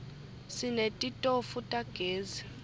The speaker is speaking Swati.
sinetitofu tagezi